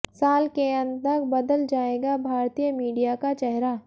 साल के अंत तक बदल जाएगा भारतीय मीडिया का चेहरा